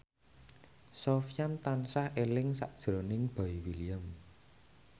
Sofyan tansah eling sakjroning Boy William